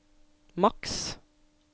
maks